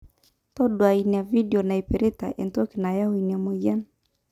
taduaa ina vedio naipirta entoki nayau ina mwayian